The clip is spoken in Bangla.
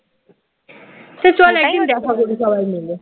তো চল একদিন দেখা করি সবাই মিলে